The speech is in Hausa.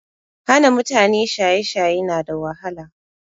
Hana mutane shaye shaye na da wahala